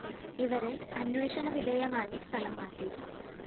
ഇവരെ അന്വേഷണ വിധേയമായി സ്ഥലം മാറ്റി